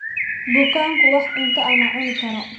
Bukaanku wax cunto ah ma cuni karo